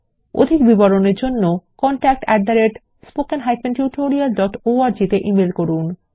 অধিক বিবরণের জন্য contactspoken tutorialorg তে ইমেল করুন